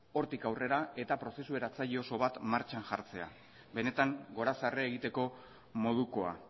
hortik aurrera eta prozesu eratzaile oso bat martxan jartzea benetan gorazarre egiteko modukoa